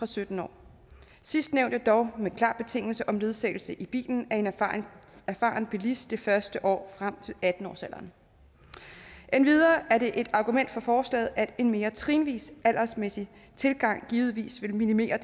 sytten år sidstnævnte dog med en klar betingelse af ledsagelse i bilen af en erfaren erfaren bilist det første år frem til atten årsalderen endvidere er det et argument for forslaget at en mere trinvis aldersmæssig tilgang givetvis vil minimere